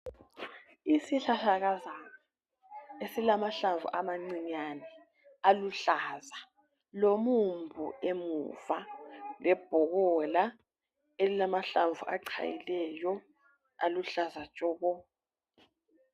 Isihlahlakazana esilamahlamvu amancinyane aluhlaza lomumbu emuva lebhobola elilamahlamvu achayileyo aluhlaza tshoko.